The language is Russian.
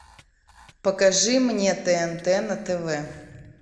покажи мне тнт на тв